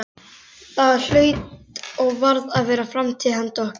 Það hlaut og varð að vera framtíð handa okkur.